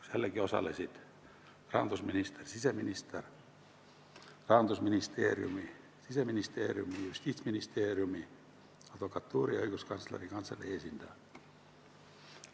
Sellelgi osalesid rahandusminister, siseminister ning Rahandusministeeriumi, Siseministeeriumi, Justiitsministeeriumi, Eesti Advokatuuri ja Õiguskantsleri Kantselei esindajad.